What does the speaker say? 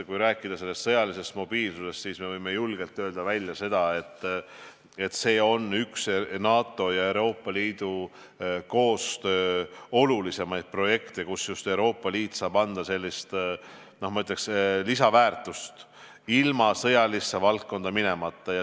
Kui rääkida sõjalisest mobiilsusest, siis me võime julgelt välja öelda, et see on üks NATO ja Euroopa Liidu koostöö olulisimaid projekte, mille korral Euroopa Liit saab anda sellist lisaväärtust ilma sõjalisse valdkonda minemata.